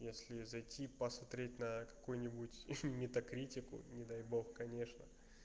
если зайти посмотреть на какую-нибудь метакритику не дай бог конечно